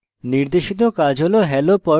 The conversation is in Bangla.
নির্দেশিত কাজ হল